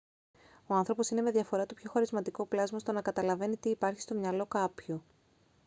ο άνθρωπος είναι με διαφορά το πιο χαρισματικό πλάσμα στο να καταλαβαίνει τι υπάρχει στο μυαλό κάποιου